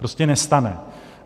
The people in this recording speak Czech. Prostě nestane.